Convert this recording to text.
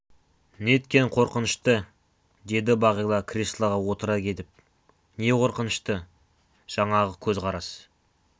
неткен қорқынышты деді бағила креслоға отыра кетіп не қорқынышты жаңағы көзқарас